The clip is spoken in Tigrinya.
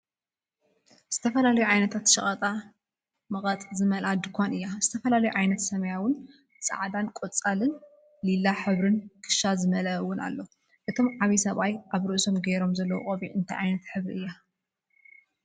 ዝተፈላለዩ ዓይነታት ሸቀጣ መቀጥ ዝመልኣ ድካን እዩ። ዝተፈላለየ ዓይነት ሰማያዊን ፃዕዳንቆፃልን ሊላን ሕብሪ ክሻ ዝመለአ እውን አሎ። እቶም ዓብይ ሰብኣይ ኣብ ርእሶም ገይሮማ ዘለው ቆቢዕ እንታይ ዓይነት ሕብሪ እያ?